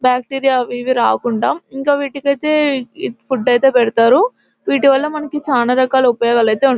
Bacteria అవి ఇవి రాకుండా ఇంకా వీటికి అయితే ఫుడ్ అయితే పెడతారు. వీటి వల్ల మనకి చాలా రకాల ఉపయోగాలు అయితే --